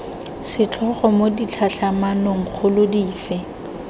setlhogo mo ditlhatlhamanong kgolo dife